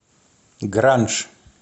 гранж